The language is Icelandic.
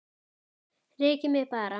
Rekið mig bara!